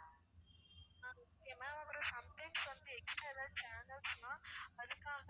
okay ma'am அப்பறம் sometimes வந்து extra ஏதாவது channels னா அதுக்காக